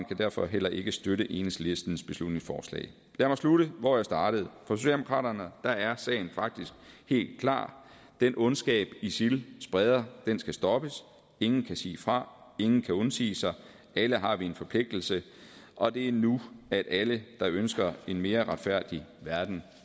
kan derfor heller ikke støtte enhedslistens beslutningsforslag lad mig slutte hvor jeg startede for socialdemokraterne er er sagen faktisk helt klar den ondskab isil spreder skal stoppes ingen kan sige fra ingen kan undsige sig alle har vi en forpligtelse og det er nu at alle der ønsker en mere retfærdig verden